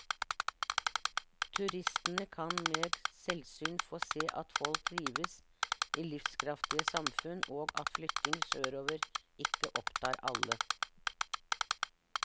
Turistene kan med selvsyn få se at folk trives i livskraftige samfunn, og at flytting sørover ikke opptar alle.